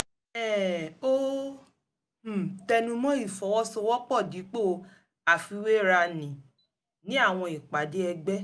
um ó um tẹnu mọ́ ìfọwọ́sowọ́pọ̀ dípò àfiwéra ní ní àwọn ìpàdé ẹgbẹ́